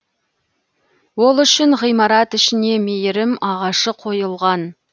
ол үшін ғимарат ішіне мейірім ағашы қойылған